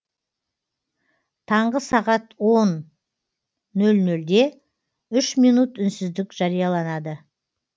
таңғы сағат он нөл нөлде үш минут үнсіздік жарияланады